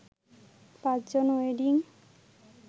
৫ জন ওয়েডিং